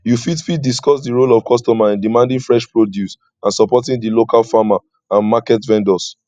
you fit fit discuss di role of customer in demanding fresh produce and supporting di local farmer and market vendors